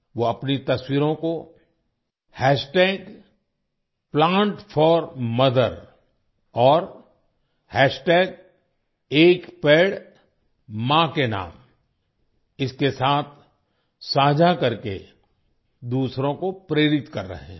वो अपनी तस्वीरों को Plant4Mother और एक पेड़ मां के नाम इसके साथ साझा करके दूसरों को प्रेरित कर रहे हैं